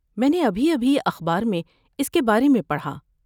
میں نے ابھی ابھی اخبار میں اس کے بارے میں پڑھا۔